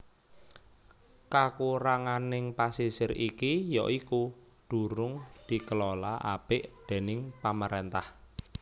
Kakuranganing pasisir iki ya iku durung dikelola apik déning pamaréntah